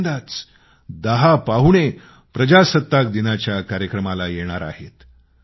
पहिल्यांदाच दहा पाहुणे प्रजासत्ताकदिनाच्या कार्यक्रमाला येणार आहेत